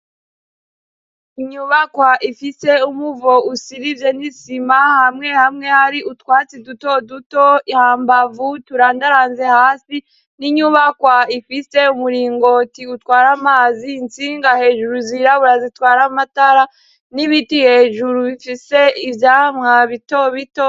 inyubakwa ifise umuvo usizemwo isima hamwe hamwe hari utwatsi duto duto hambavu turandaranze hasi. N'inyubakwa ifise umuringoti utwara amazi intsinga hejuru zirabura zitwara amatara n'ibiti hejuru bifise ivyamwa bito bito.